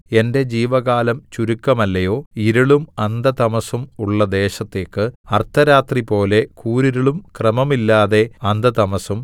എന്റെ ജീവകാലം ചുരുക്കമല്ലയോ ഇരുളും അന്ധതമസ്സും ഉള്ള ദേശത്തേക്ക് അർദ്ധരാത്രിപോലെ കൂരിരുളും ക്രമമില്ലാതെ അന്ധതമസ്സും